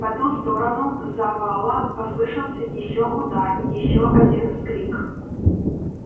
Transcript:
по ту сторону завала послышался ещё удар ещё один вскрик